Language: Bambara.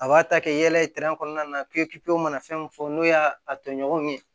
A b'a ta kɛ yala ye kɔnɔna na k'e mana fɛn min fɔ n'o y'a tɔɲɔgɔnw ye